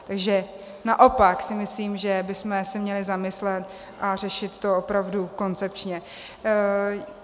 Takže naopak si myslím, že bychom se měli zamyslet a řešit to opravdu koncepčně.